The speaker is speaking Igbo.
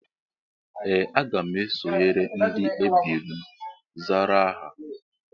Ee, aga m esonyere ndị ebiri m zara aha